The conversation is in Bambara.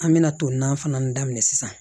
An bɛna to naani fana daminɛ sisan